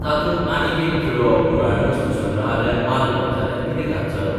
तातूंत आनीक एक खिळो पुराणवस्तूसंग्रहालयान मारलो जाल्यार कितें घात जालो?